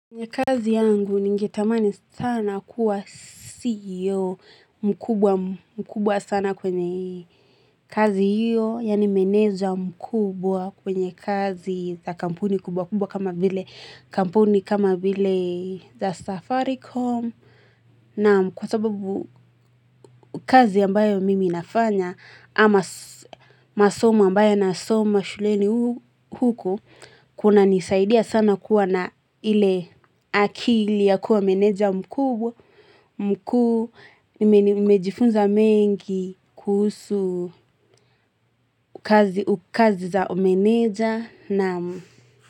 Kwenye kazi yangu ningetamani sana kuwa CEO mkubwa sana kwenye kazi hiyo yaani meneja mkubwa kwenye kazi za kampuni kubwa kubwa kama vile kampuni kama vile za safaricom Naam kwa sababu kazi ambayo mimi nafanya ama masomo ambayo nasoma shuleni huku Kuna nisaidia sana kuwa na ile akili ya kuwa meneja mkubwa, mkuu, nimejifunza mengi kuhusu kazi za umeneja naam.